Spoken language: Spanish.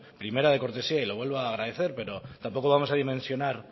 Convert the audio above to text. primera de cortesía y lo vuelvo a agradecer pero tampoco vamos a dimensionar